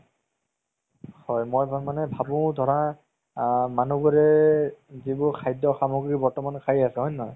হয় মই মানে ভাবো ধৰা আ মানুহবোৰে যিবোৰ খাদ্য সামগ্ৰি বৰ্তমান খাই আছে হয় নে নহয়